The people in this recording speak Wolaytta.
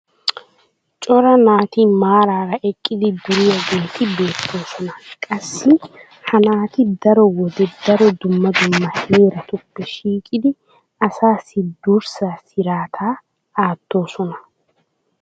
cora naati maaraara eqqidi duriyaageeti beetoosona. qassi ha naati daro wode daro dumma dumma heeratuppe shiiqidi asaassi durssaa siraataa aatoosona.